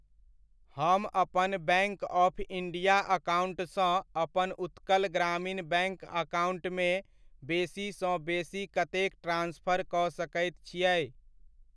हम अपन bank of India account सँ अपन उत्कल ग्रामीण बैंक अकाउण्ट मे बेसी सँ बेसी कतेक ट्रांस्फर कऽ सकैत छियै?